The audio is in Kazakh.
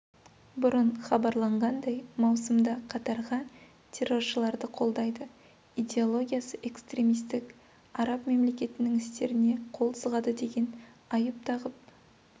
бұрын хабарланғандай маусымда қатарға терроршыларды қолдайды идеологиясы экстремистік араб мемлекетінің істеріне қол сұғады деген айып тағып